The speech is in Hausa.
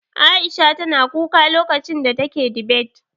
Aisha tana kuka lokacin da take dibet.